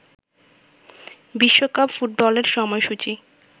বিশ্বকাপ ফুটবলের সময়সূচি